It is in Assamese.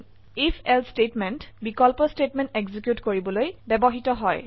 ifএলছে স্টেটমেন্ট বিকল্প স্টেটমেন্ট এক্সিকিউট কৰিবলৈ ব্যবহৃত হয়